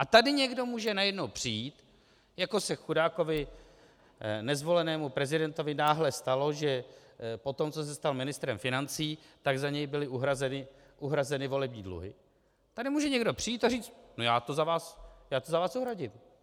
A tady někdo může najednou přijít, jako se chudákovi nezvolenému prezidentovi náhle stalo, že po tom, co se stal ministrem financí, tak za něj byly uhrazeny volební dluhy - tady může někdo přijít a říct: "No já to za vás uhradím.